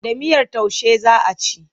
Da miyar taushe za a ci.